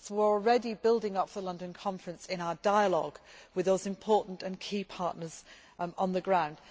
We are already building up to the London Conference in our dialogue with those important and key partners on the ground.